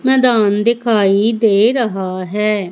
मैदान दिखाई दे रहा है।